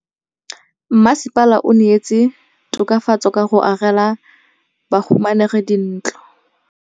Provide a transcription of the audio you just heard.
Mmasepala o neetse tokafatsô ka go agela bahumanegi dintlo.